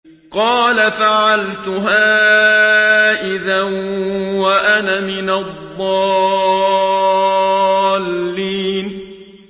قَالَ فَعَلْتُهَا إِذًا وَأَنَا مِنَ الضَّالِّينَ